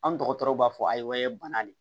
An dɔgɔtɔrɔw b'a fɔ a ye bana de